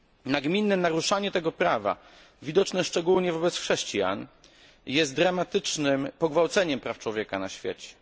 Nagminne naruszanie tego prawa, widoczne szczególnie wobec chrześcijan, jest dramatycznym pogwałceniem praw człowieka na świecie.